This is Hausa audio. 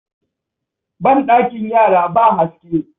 Banɗakin yara ba haske.